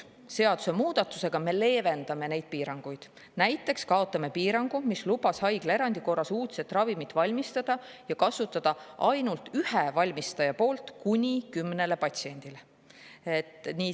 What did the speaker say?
Seadusemuudatusega me leevendame neid piiranguid: näiteks kaotame piirangu, mis lubas haiglaerandi korras valmistada uudset ravimit ja kasutada ainult ühe valmistaja poolt kuni kümnel patsiendil.